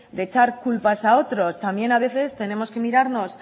de echar culpas a otros también a veces tenemos que mirarnos